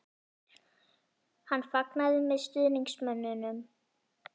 Hann fagnaði með stuðningsmönnunum?